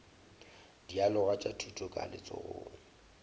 dialoga tša thuto ka letsogong